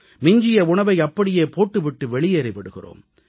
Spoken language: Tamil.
மிஞ்சிய உணவை அப்படியே போட்டு விட்டு வெளியேறி விடுகிறோம்